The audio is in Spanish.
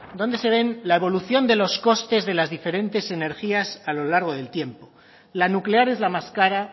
donde se ve la evolución de los costes de las diferentes energías a lo largo del tiempo la nuclear es la más cara